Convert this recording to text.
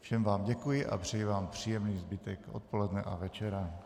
Všem vám děkuji a přeji vám příjemný zbytek odpoledne a večera.